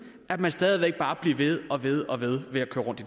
at man stadig væk bare bliver ved og ved og ved med at køre rundt i